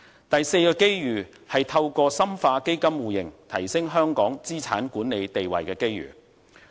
第四個機遇，就是透過深化基金互認提升香港資產管理地位的機遇。